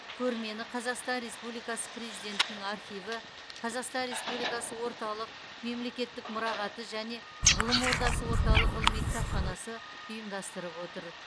көрмені қазақстан республикасы президентінің архиві қазақстан республикасы орталық мемлекеттік мұрағаты және ғылым ордасы орталық ғылыми кітапханасы ұйымдастырып отыр